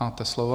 Máte slovo.